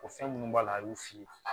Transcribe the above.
O fɛn minnu b'a la a y'o f'i ye